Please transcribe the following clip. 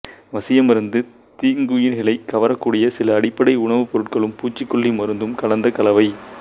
வசியமருந்து தீங்குயிரிகளைக் கவரக்கூடிய சில அடிப்படை உணவுப் பொருட்களும் பூச்சிக்கொல்லி மருந்தும் கலந்த கலவை